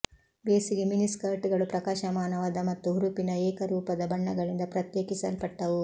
ಬೇಸಿಗೆ ಮಿನಿ ಸ್ಕರ್ಟ್ಗಳು ಪ್ರಕಾಶಮಾನವಾದ ಮತ್ತು ಹುರುಪಿನ ಏಕರೂಪದ ಬಣ್ಣಗಳಿಂದ ಪ್ರತ್ಯೇಕಿಸಲ್ಪಟ್ಟವು